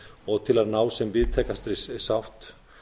og til að ná sem víðtækastri sátt